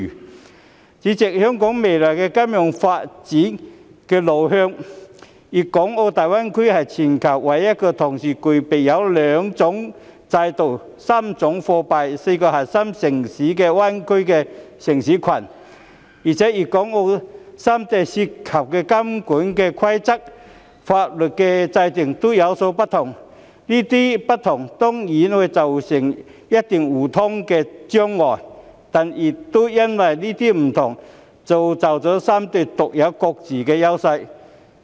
代理主席，就香港未來金融發展的路向，大灣區是全球唯一同時具備兩種制度、3種貨幣、4個核心城市的灣區城市群，而且粵港澳三地的監管規則和法律制度各有不同，當然會造成一些互通的障礙，但亦因為這些不同而造就出三地各自獨有的優勢。